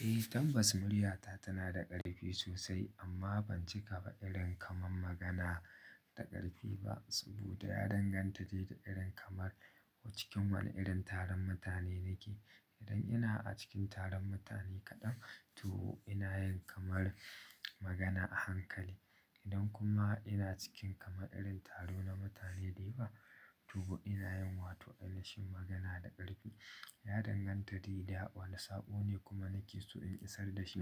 Eh, tabbas muryata tana da ƙarfi sosai amma ban cika ba irin kamar magana da ƙarfi ba. Saboda ya danganta da irin kamar ko cikin wane irin taron mutane nake. Idan ina a cikin taron mutane kaɗan to ina yin kamar magana a hankali. Idan kuma ina cikin kamar irin taro na mutane da yawa to ina yin wato ɗakin magana da ƙarfi. Ya danganta da ya wane saɓo ne kuma nake so in isar da shi.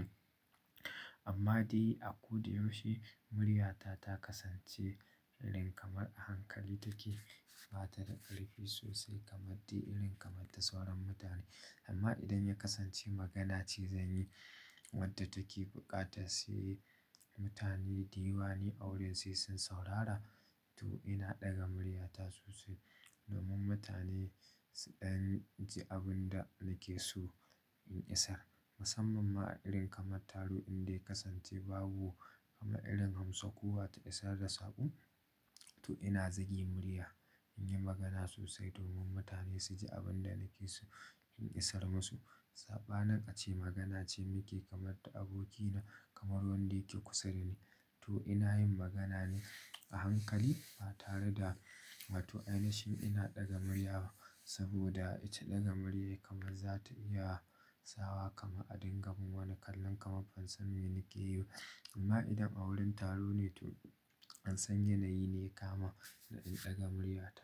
Amma dai a ko da yaushe muryata ta kasance irin kamar a hankali take ba tare da ƙarfi sosai kamar dai irin kamar ta sauran mutane. Amma idan ya kasance magana ce zanyi wadda take buƙata sai mutane da yawa ne a wurin sai sun saurara to ina ɗaga murya ta sosai domin mutane su ɗan ji abun da nake so in isar. Musamman ma a irin kamar taro inda ya kasance babu kama irin hamso kuwa ta isar da saƙo to ina zage murya in yi magana sosai domin mutane su ji abun da nake so in isar musu. Saɓanin a ce magana ce nake kamar da abokina kamar wanda yake kusa da ni to ina yin magana ne a hankali ba tare da wato na shi ina ɗaga murya ba. Saboda ita ɗaga murya kamar za ta iya sawa kama a dingamin wani kallon kamar ban sani me nake yi ba. Amma idan a wurin taro ne to an san yanayi ne kama da in ɗaga muryata.